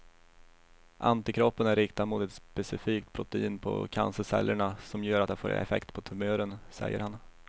Antikroppen är riktad mot ett specifikt protein på cancercellerna som gör att det får effekt på tumören, säger han.